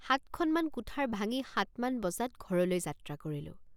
সাতখনমান কুঠাৰ ভাঙি সাতমান বজাত ঘৰলৈ যাত্ৰা কৰিলোঁ।